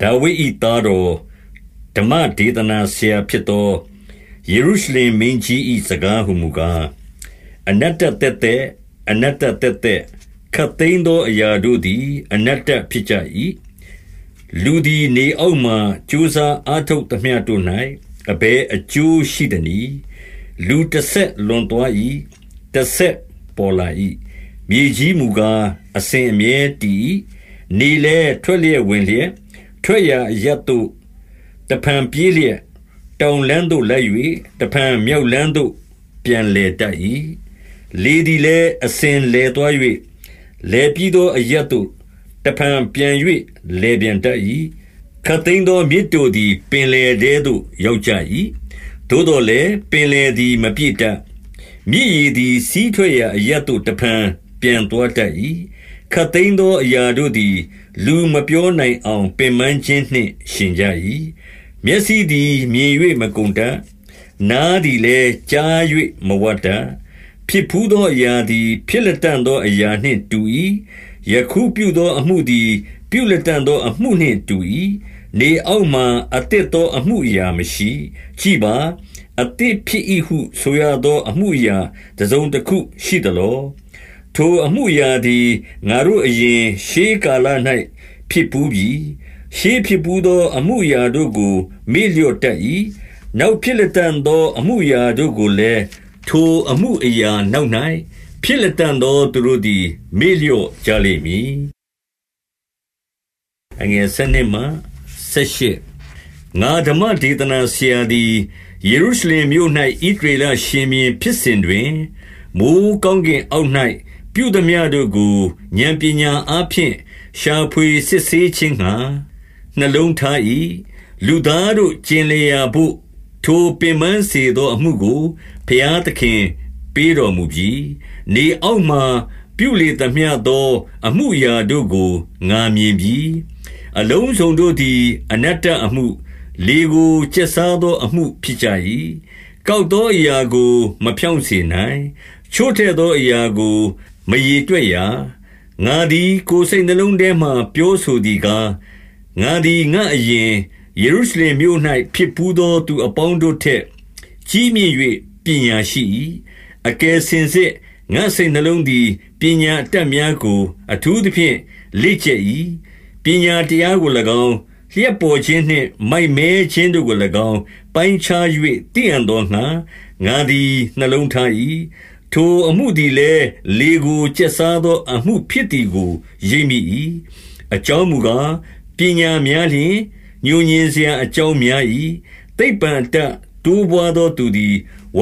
ဒါဝိဒ်၏သားတော်၊ ဓမ္မဒေသနာဆရာဖြစ်သော ယေရုရှလင်မင်းကြီး၏စကားဟူမူကား၊ အနတ္တသက်သက်၊ အနတ္တသက်သက်၊ ခပ်သိမ်းသောအရာတို့သည် အနတ္တဖြစ်ကြ၏။ လူသည် နေအောက်မှာ ကြိုးစားအားထုတ်သမျှ တို့၌ အဘယ်အကျိုးရှိသနည်း။ လူတဆက်လွန်သွား၏။ တဆက်ပေါ်လာ၏။ မြေကြီးမူကား အစဉ်အမြဲတည်၏။ နေလည်းထွက်လျက် ဝင်လျက်၊ ထွက်ရာအရပ်သို့ တဖန်ပြေးလျက်၊ တောင်လမ်းသို့လိုက်၍၊ တဖန် မြောက်လမ်းသို့ ပြန်လည်တတ်၏။ လေသည်လည်း အစဉ်လည်သွား၍၊ လည်ပြီး သောအရပ်သို့ တဖန်ပြန်၍လည်ပြန်တတ်၏။ ခပ်သိမ်းသော မြစ်တို့သည် ပင်လယ်ထဲသို့ ရောက်ကြ၏။ သို့သော်လည်း၊ ပင်လယ်သည် မပြည့် တတ်။ မြစ်ရေသည် စီးထွက်ရာအရပ်သို့ တဖန်ပြန်သွား တတ်၏။ ခပ်သိမ်းသော အရာတို့သည် လူမပြောနိုင် အောင် ပင်ပန်းခြင်းနှင့် ယှဉ်ကြ၏။ မျက်စိသည် မြင်၍ မကုန်တတ်။ နားသည်လည်း ကြား၍မဝတတ်။ ဖြစ်ဘူးသော အရာသည် ဖြစ်လတံ့သောအရာ နှင့်တူ၏။ ယခုပြုသောအမှုသည် ပြုလတံ့သောအမှုအရာမရှိ။ ကြည့်ပါ။ အသစ်ဖြစ်၏ဟုဆိုရသော အမှုအရာ တစုံတခုရှိသလော။ ထိုအမှုအရာသည် ငါတို့အရင်၊ ရှေးကာလ၌ ဖြစ်ဘူးပြီ။ ရှေးဖြစ်ဘူးသော အမှုအရာတို့ကို မေ့လျော့ တတ်၏။ နောက်ဖြစ်လတံ့သောအမှုအရာတို့ကိုလည်း၊ ထိုအမှုအရာနောက်၌ ဖြစ်လတံ့သော သူတို့သည် မေ့လျော့ကြလိမ့်မည်။ ငါဓမ္မဒေသနာဆရာသည်၊ ယေရုရှလင်မြို့၌ ဣသရေလရှင်ဘုရင်ဖြစ်စဉ်တွင်၊ မိုဃ်းကောင်းကင်အောက်၌ ပြုသမျှတို့ကို ဥာဏ်ပညာ အားဖြင့်၊ ရှာဖွေစစ်ဆေးခြင်းငှါ နှလုံးထား၏။ လူသား တို့ ကျင်လည်ရာဘို့ ထိုပင်ပန်းစေသောအမှုကို ဘုရား သခင်ပေးတော်မူပြီ။ နေအောက်မှာ ပြုလေသမျှသော အမှုအရာ တို့ကို ငါမြင်ပြီ။ အလုံးစုံတို့သည် အနတ္တအမှု၊ လေကို ကျက်စားသော အမှုဖြစ်ကြ၏။ ကောက်သောအရာကို မဖြောင့်စေနိုင်။ ချို့တဲ့ သောအရာကို မရေတွက်ရာ။ ငါသည် ကိုယ်စိတ်နှလုံးထဲမှာ ပြောဆိုသည်ကား၊ ငါသည်ငါ့အရင်၊ ယေရုရှလင်မြို့၌ ဖြစ်ဘူးသောသူ အပေါင်းတို့ထက် ကြီးမြင့်၍ပညာရှိ၏။ အကယ်စင်စစ် ငါ့စိတ်နှလုံးသည် ပညာအတတ်များကို အထူးသဖြင့် လေ့ကျက်၏။ ပညာတရားကို၎င်း၊ လျှပ်ပေါ်ခြင်းနှင့် မိုက်မဲ ခြင်းတို့ကို၎င်း ပိုင်းခြား၍ သိအံ့သောငှါ ငါသည်နှလုံး ထား၏။ ထိုအမှုသည်လည်း၊ လေကို ကျက်စားသောအမှု ဖြစ်သည်ကို ရိပ်မိ၏။ အကြောင်းမူကား၊ ပညာများလျှင်၊ ငြိုငြင်စရာ အကြောင်းများ၏။ သိပ္ပံအတတ် တိုးပွားသောသူသည် ဝ